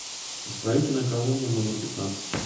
исправительная колония номер пятнадцать